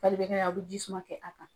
a bɛ jisuman kɛ a kan.